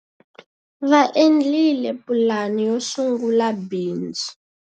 Va endlile pulani yo sungula bindzu.